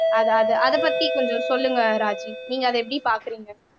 அதா அதா அத பத்தி கொஞ்சம் சொல்லுங்க ராஜி நீங்க அதை எப்படி பாக்குறீங்க